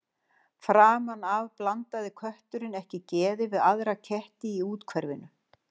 Framan af blandaði kötturinn ekki geði við aðra ketti í úthverfinu.